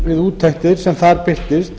við úttektir sem þar birtist